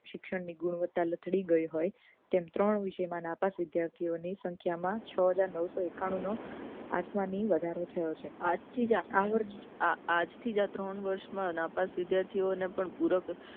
શિક્ષણ ની ગુણવત્તા લથડી ગઈ હોય તેમ ત્રણ વિષય મા નાપાસ વિદ્યાર્થીઓની સંખ્યામાં છ હજાર નવસો એકાણું નો આસમાની વધારો થયો છે આજ થી જ આ ત્રણ વર્ષ માં નાપાસ વિદ્યાર્થીઓ ને પણ પુરા કરવામાં